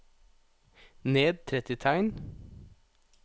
Ned tretti tegn